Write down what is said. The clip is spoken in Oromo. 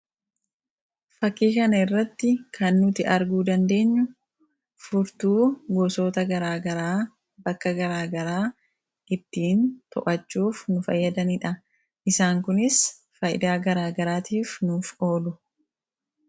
Fakkii kana irratti kan nuti arguu dandeenyu furtuu gosoota garaa garaa bakka garaa garaa ittiin to'achuuf nu fayyadanidha. Isaan kunis faayidaa garaa garaatiif nuuf oolu.